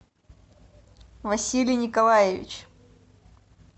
василий николаевич